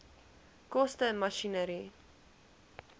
koste masjinerie